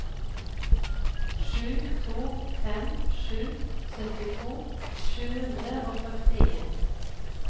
sju to fem sju syttito sju hundre og førtien